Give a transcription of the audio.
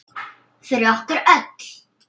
Fyrir okkur öll.